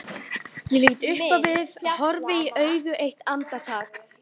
Ég lít upp og við horfumst í augu eitt andartak.